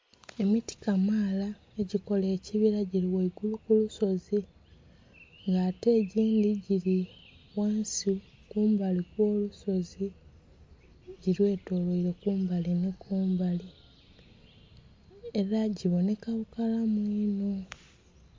Emiti kamaala egikola ekibila gili ku lusozi nga ate egindhi gili ghansi kumbali okwolusozi gilwetoloile kumbali nhi kumbali ela gibonheka bukalamu inho.